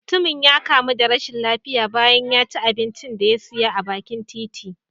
Mutumin ya kamu da rashin lafiya bayan ya ci abincin da ya siya a bakin titi.